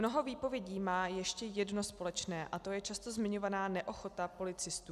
Mnoho výpovědí má ještě jedno společné, a to je často zmiňovaná neochota policistů.